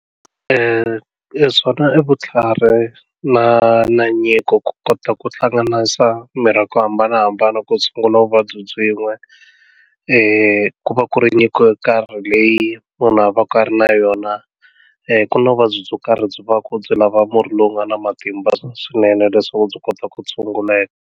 swona i vutlhari na na nyiko ku kota ku hlanganisa mirhi ya ku hambanahambana ku tshungula vuvabyi byin'we ku va ku ri nyiko yo karhi leyi munhu a va ka a ri na yona ku na vuvabyi byo karhi byi va byi lava murhi lowu nga na matimba swinene leswaku byi kota ku tshunguleka.